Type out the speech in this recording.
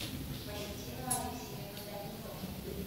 валентину алексеевну данилову